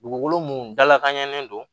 Dugukolo mun dalakanɲɛlen don